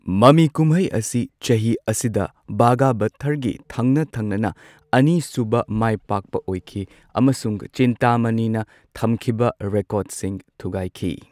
ꯃꯃꯤꯀꯨꯝꯍꯩ ꯑꯁꯤ ꯆꯍꯤ ꯑꯁꯤꯗ ꯚꯒꯕꯥꯊꯔꯒꯤ ꯊꯪꯅ ꯊꯪꯅꯅ ꯑꯅꯤꯁꯨꯕ ꯃꯥꯢꯄꯥꯛꯄ ꯑꯣꯏꯈꯤ ꯑꯃꯁꯨꯡ ꯆꯤꯟꯇꯥꯃꯅꯤꯅ ꯊꯝꯈꯤꯕ ꯔꯦꯀꯣꯔ꯭ꯗꯁꯤꯡ ꯊꯨꯒꯥꯏꯈꯤ꯫